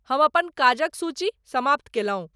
हम अपन काजक सूची समाप्त केलहुं।